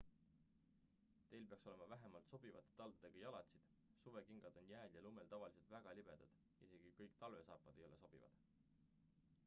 teil peaks olema vähemalt sobivate taldadega jalatsid suvekingad on jääl ja lumel tavaliselt väga libedad isegi kõik talvesaapad ei ole sobivad